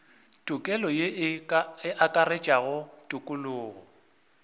tokelo ye e akaretša tokologo